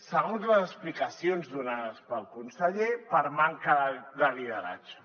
segons les explicacions donades pel conseller per manca de lideratge